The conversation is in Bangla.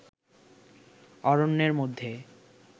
অরণ্যের মধ্যে